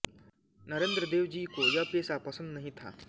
नरेंद्रदेव जी को यह पेशा पसन्द नहीं था